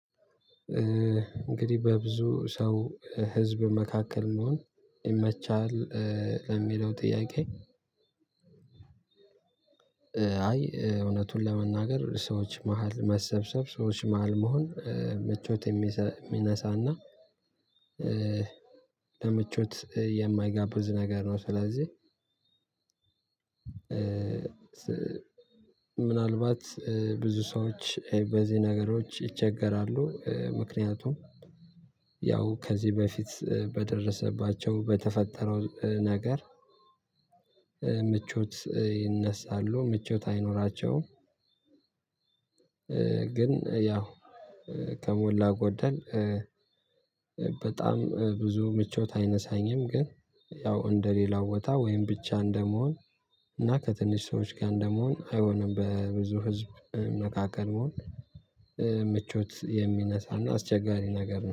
እንግዲህ በብዙ ሰው ህዝብ መካከል መሆን ይመቻል ለሚለው ጥያቄ? አይ እውነቱን ለመናገር ሰዎች መሃል መሰብሰብ ሰዎች መሃል መሆን ምቾት የሚነሳና ለምቾት የማይጋብዝ ነገር ነው። ስለዚህ ምናልባት ብዙ ሰዎች በዚህ ነገሮች ይቸገራሉ ምክንያቱም ያው ከዚህ በፊት በደረሰባቸው በተፈጠረው ነገር ምቾት ይነሳሉ ምቾት አይኖራቸውም። ግን ያው ከሞላ ጎደል በጣም ብዙ ምቾት አይነሳኝም ግን ያው እንደሌላው ቦታ ወይም ብቻ እንደመሆን እና ከትንሽ ሰዎች ጋር እንደመሆን አይሆንም። በብዙ ህዝብ መካከል መሆን ምቾት የሚነሳና አስቸጋሪ ነገር ነው